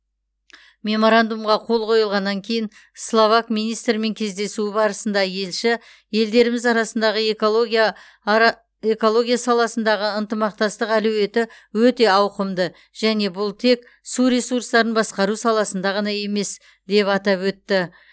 меморандумға қол қойылғаннан кейін словак министрімен кездесуі барысында елші елдеріміз арасындағы экология ара саласындағы ынтымақтастық әлеуеті өте ауқымды және бұл тек су ресурстарын басқару саласында ғана емес деп атап өтті